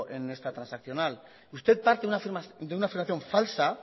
en esta transaccional usted parte de una afirmación falsa